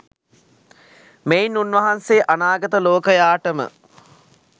මෙයින් උන්වහන්සේ අනාගත ලෝකයාටම